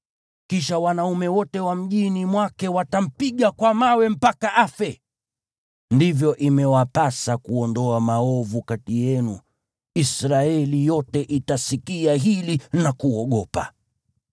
Kisha wanaume wote wa mjini mwake watampiga kwa mawe mpaka afe. Ndivyo imewapasa kuondoa maovu kati yenu. Israeli yote itasikia hili na kuogopa.